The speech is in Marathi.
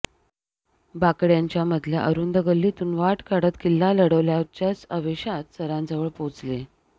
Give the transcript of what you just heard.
बाकड्यांच्या मधल्या अरुंद गल्लीतून वाट काढत किल्ला लढवल्याच्याच आवेशात सरांजवळ पोचले